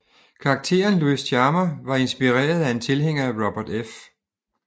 Karakteren Luis Chama var inspireret af en tilhænger af Robert F